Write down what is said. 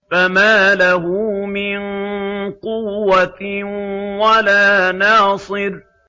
فَمَا لَهُ مِن قُوَّةٍ وَلَا نَاصِرٍ